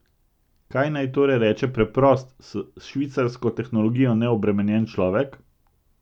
Kaj naj torej reče preprost, s švicarsko tehnologijo neobremenjen človek?